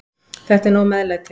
Þetta er nóg meðlæti.